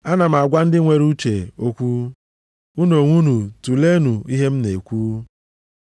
Ana m agwa ndị nwere uche okwu, unu onwe unu tulenụ ihe m na-ekwu.